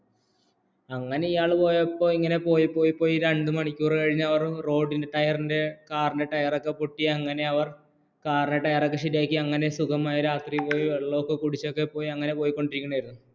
അങ്ങനെ ഇയാൾ പോയപ്പോൾ ഇങ്ങനെ പോയി പോയി രാത്രി വണ്ടി തയ്യാറാക്ക പൊട്ടി പോയപ്പോൾ അങ്ങനെ ഇയാൾ പോയപ്പോൾ പോയി പോയി കാറിൻറെ ശരിയാക്കിയ രാത്രി വെള്ളമൊക്കെ കുടിച്ചു ഇങ്ങനെ പോയിക്കൊണ്ടിരുന്നു